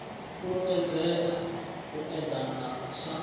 fhulufhedzea u eḓana u sa